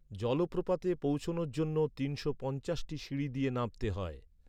জলপ্রপাতে পৌঁছনোর জন্য তিনশো পঞ্চাশটি সিঁড়ি দিয়ে নামতে হয়।